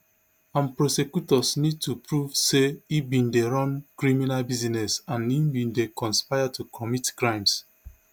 and prosecutors need to prove say e bin dey run criminal business and bin dey conspire to commit crimes